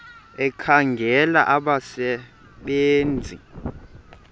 ekhangela abasebe nzi